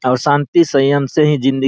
और शांति सय्यम से ही ज़िन्दगी --